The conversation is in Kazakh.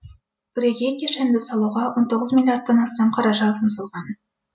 бірегей кешенді салуға он тоғыз миллиардтан астам қаражат жұмсалған